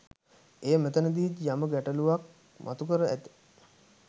එය මෙතැනදීත් යම ගැටළුවක් මතු කර ඇති